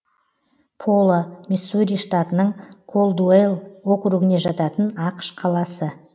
поло миссури штатының колдуэлл округіне жататын ақш қаласы